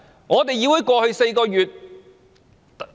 議會在過去4個月......